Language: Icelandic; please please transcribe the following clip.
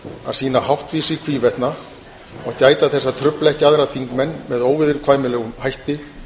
að sýna háttvísi í hvívetna og gæta þess að trufla ekki aðra þingmenn með óviðurkvæmilegum hætti